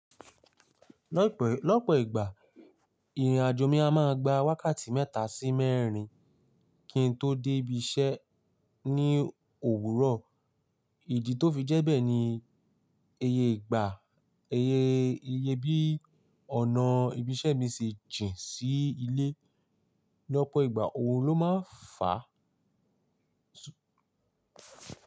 Lọ́pọ̀ ìgbà ìrìnàjò mi a máa gba wákàtí mẹ́ta sí mẹ́rin kí n tó dé ibi iṣẹ́ ní òwúrọ̀. Ìdí tó fi jẹ́ bẹ́ẹ̀ ni iye ìgbà, iye bí ọ̀nà ibi iṣẹ́ mi ṣe jìn sí ilé. Lọ́pọ̀ ìgbà òrun ló máa ń fà á.